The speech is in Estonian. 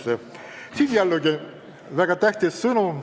Siin antakse selle eelnõuga jällegi väga tähtis sõnum.